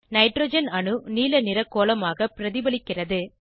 nitrogen அணு நீலநிற கோளமாக பிரதிபலிக்கிறது